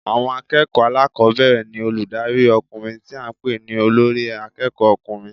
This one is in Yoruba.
Àwọn akéèkòó alákòbéèrè ní olùdarí okùnrin tí a n pè ní Olórí akéèkó ọkùnrin